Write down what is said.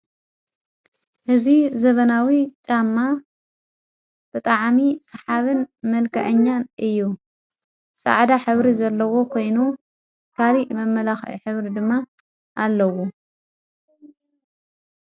ሕዝ ዘበናዊ ጻማ ብጥዓሚ ሰሓብን መልቀአኛን እዩ ሠዓዳ ኅብሪ ዘለዎ ኾይኑ ካሊእ መመላ ኅብሪ ድማ ኣለዉ።